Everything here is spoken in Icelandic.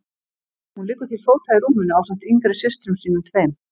Hún liggur til fóta í rúminu ásamt yngri systrum sínum tveim.